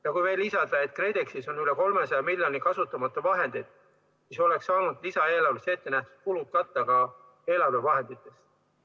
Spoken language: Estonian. Ja kui veel lisada, et KredExis on üle 300 miljoni kasutamata vahendeid, siis oleks saanud lisaeelarves ette nähtud kulud katta ka eelarve vahenditest.